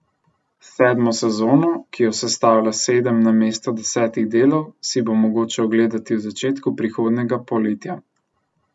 Sedmo sezono, ki jo sestavlja sedem namesto desetih delov, si bo mogoče ogledati v začetku prihodnjega poletja.